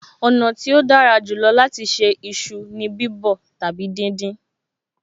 Ọ̀nà tí ó dára jù lọ láti ṣe iṣu ni bíbọ̀ tàbí díndín